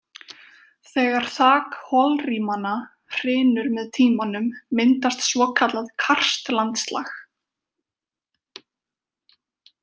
Þegar þak holrýmanna hrynur með tímanum myndast svokallað karst-landslag.